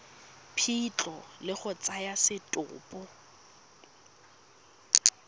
phitlho le go tsaya setopo